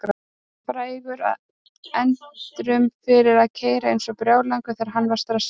Frægur að endemum fyrir að keyra eins og brjálæðingur þegar hann var stressaður.